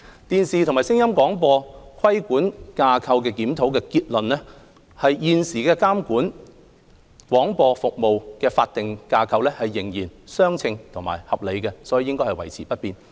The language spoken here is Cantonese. "電視及聲音廣播規管架構檢討"的結論是現時監管廣播服務的法定架構仍然相稱和合理，所以應維持不變。